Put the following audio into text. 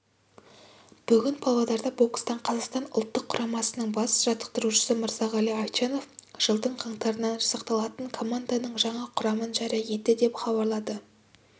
бүгін павлодарда бокстан қазақстан ұлттық құрамасының бас жаттықтырушысы мырзағали айтжанов жылдың қаңтарынан жасақталатын команданың жаңа құрамын жария етті деп хабарлады